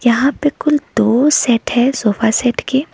यहां पे कुल दो सेट है सोफा सेट के।